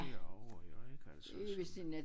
Herover jo ik altså som